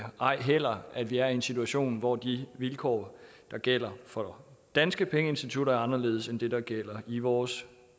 ej heller at vi er i en situation hvor de vilkår der gælder for danske pengeinstitutter er anderledes end det der gælder i vores